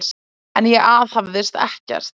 En ég aðhafðist ekkert.